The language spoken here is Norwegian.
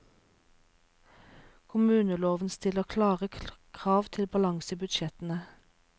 Kommuneloven stiller klare krav til balanse i budsjettene.